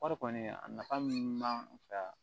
Kɔɔri kɔni a nafa min b'an fɛ yan